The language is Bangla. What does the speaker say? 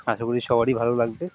আশা করি সবারই ভালো লাগবে ।